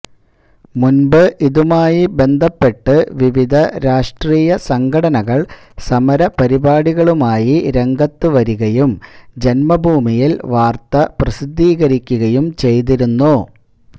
മുന്പ് ഇതുമായി ബന്ധപ്പെട്ട് വിവിധ രാഷ്ട്രീയ സംഘടനകള് സമരപരിപാടികളുമായി രംഗത്ത് വരികയും ജന്മഭൂമിയില് വാര്ത്ത പ്രസിദ്ധീകരിക്കുകയും ചെയ്തിരുന്നു